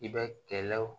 I bɛ kɛlaw